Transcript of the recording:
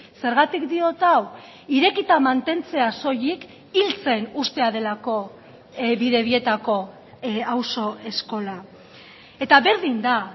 zergatik diot hau irekita mantentzea soilik hiltzen uztea delako bidebietako auzo eskola eta berdin da